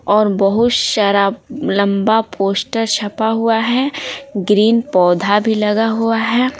और बहुत सारा लंबा पोस्टर छपा हुआ है ग्रीन पौधा भी लगा हुआ है।